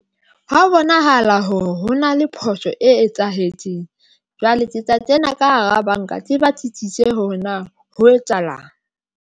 Ha bonahala hore ho na le phoso e etsahetseng. Jwale ke tla kena ka hara banka tle batlisise hore na ho etsahalang.